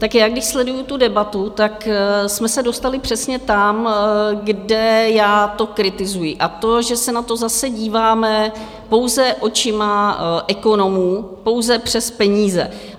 Tak já když sleduju tu debatu, tak jsme se dostali přesně tam, kde já to kritizuji, a to, že se na to zase díváme pouze očima ekonomů, pouze přes peníze.